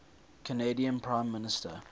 canadian prime minister